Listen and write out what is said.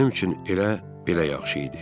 Mənim üçün elə belə yaxşı idi.